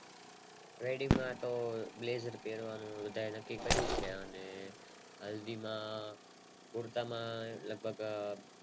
Wedding માં તો બધાએ Blazer પેરવાનું નક્કી કર્યું છે અને હલ્દી માં કુર્તા માં લભગક